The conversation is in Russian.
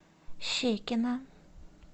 щекино